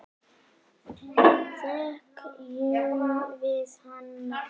Þekkjum við hana?